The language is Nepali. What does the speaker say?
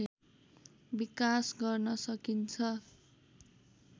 विकास गर्न सकिन्छ